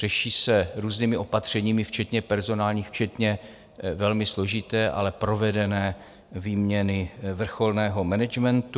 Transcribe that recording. Řeší se různými opatřeními včetně personálních, včetně velmi složité, ale provedené výměny vrcholného managementu.